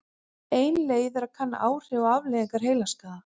Ein leið er að kanna áhrif og afleiðingar heilaskaða.